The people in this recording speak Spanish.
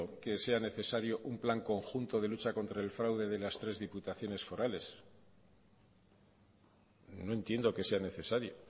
que sea necesario un plan conjunto de lucha contra el fraude de las tres diputaciones forales no entiendo que sea necesario